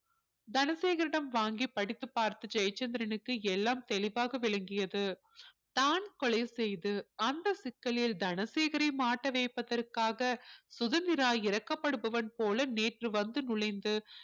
தனசேகரிடம் வாங்கிப் படித்துப் பார்த்த ஜெயச்சந்திரனுக்கு எல்லாம் தெளிவாக விளங்கியது தான் கொலை செய்து அந்த சிக்கலில் தனசேகரை மாட்ட வைப்பதற்காக சுதந்திரா இரக்கப்படுபவன் போல நேற்று வந்து நுழைந்து